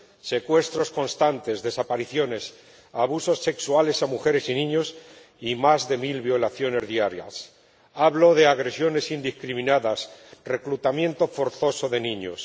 Secuestros constantes, desapariciones, abusos sexuales a mujeres y niños y más de mil violaciones diarias hablo de agresiones indiscriminadas, reclutamiento forzoso de niños.